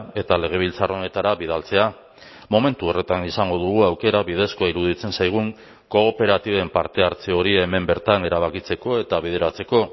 eta legebiltzar honetara bidaltzea momentu horretan izango dugu aukera bidezkoa iruditzen zaigun kooperatiben parte hartze hori hemen bertan erabakitzeko eta bideratzeko